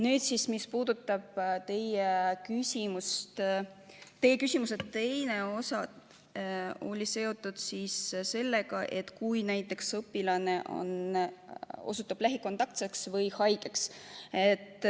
Nüüd, mis puudutab teie küsimuse teist osa, mis oli seotud sellega, et kui õpilane osutub lähikontaktseks või haigeks.